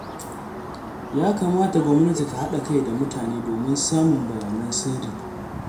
Ya kamata gwamnati ta haɗa kai da mutane domin samun bayanan sirri